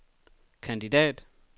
kandidat